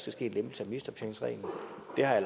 næh nu har jeg